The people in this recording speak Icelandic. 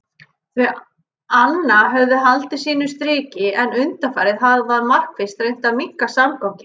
Þau anna höfðu haldið sínu striki en undanfarið hafði hann markvisst reynt að minnka samganginn.